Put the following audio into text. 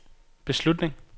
beslutning